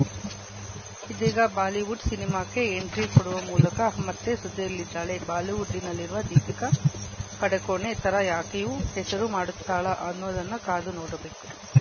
ಇದೀಗ ಬಾಲಿವುಡ್‌ ಸಿನಿಮಾಕ್ಕೆ ಎಂಟ್ರಿ ಕೊಡುವ ಮೂಲಕ ಮತ್ತೆ ಸುದ್ದಿಯಲ್ಲಿದ್ದಾಳೆ ಬಾಲಿವುಡ್‌ನಲ್ಲಿರುವ ದೀಪಿಕಾ ಪಡುಕೋಣೆ ಥರ ಆಕೆಯೂ ಹೆಸರು ಮಾಡುತ್ತಾಳಾ ಅನ್ನೋದನ್ನು ಕಾದು ನೋಡಬೇಕು